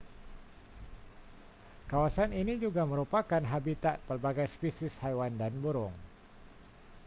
kawasan ini juga merupakan habitat pelbagai spesies haiwan dan burung